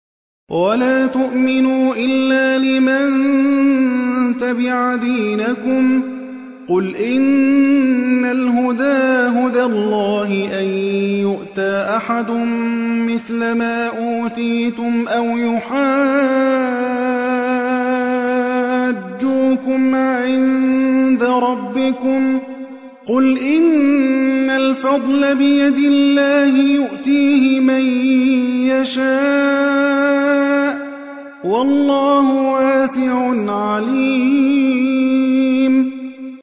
وَلَا تُؤْمِنُوا إِلَّا لِمَن تَبِعَ دِينَكُمْ قُلْ إِنَّ الْهُدَىٰ هُدَى اللَّهِ أَن يُؤْتَىٰ أَحَدٌ مِّثْلَ مَا أُوتِيتُمْ أَوْ يُحَاجُّوكُمْ عِندَ رَبِّكُمْ ۗ قُلْ إِنَّ الْفَضْلَ بِيَدِ اللَّهِ يُؤْتِيهِ مَن يَشَاءُ ۗ وَاللَّهُ وَاسِعٌ عَلِيمٌ